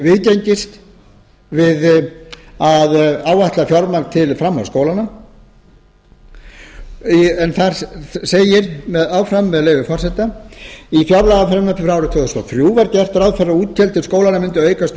hafi viðgengist við að áætla fjármagn til framhaldsskólanna þar segir áfram með leyfi forseta í fjárlagafrumvarpi árið tvö þúsund og þrjú var gert ráð fyrir að útgjöld til skólanna myndu aukast